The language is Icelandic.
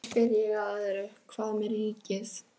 Og síðan spyr ég að öðru, hvað með ríkið?